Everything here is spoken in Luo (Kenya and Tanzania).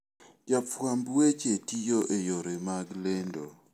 Jofwamb weche tiyo e yore mag lendo.